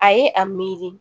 A ye a miiri